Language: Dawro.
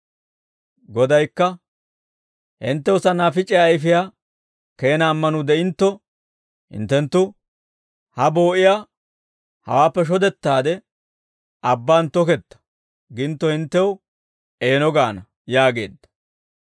Godaykka, «Hinttew sannaafic'iyaa ayfiyaa keena ammanuu de'intto, hinttenttu ha boo'iyaa, ‹Hawaappe shodettaade, abbaan tooketta› gintto hinttew eeno gaana» yaageedda.